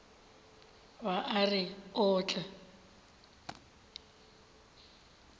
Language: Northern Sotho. ba a re o tla